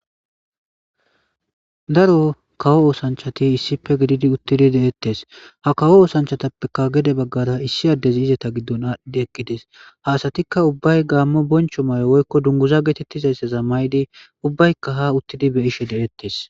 Daro kawo oothanchati issippe gididi uttidi de'eetees. Ha kawo oothanchatappeka gede baggara issi addey izeta giddon aadhi eqidees. Ha asatika gamo boncho mayo woyko dunguza gizaysa mayidi ubbayka ha uttidi be'ishe deetees.